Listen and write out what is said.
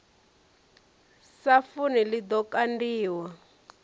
sa funi ḽi ḓo kandiwa